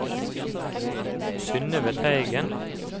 Synøve Teigen